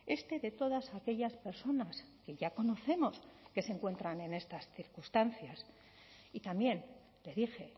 este de todas aquellas personas que ya conocemos que se encuentran en estas circunstancias y también le dije